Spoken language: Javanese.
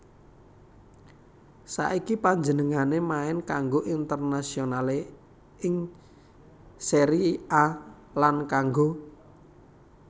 Saiki panjenengané main kanggo Internazionale ing Serie A lan kanggo